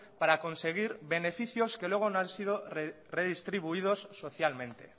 para conseguir beneficios que luego no han sido redistribuidos socialmente